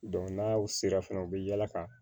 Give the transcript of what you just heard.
n'aw sera fana u bi yala ka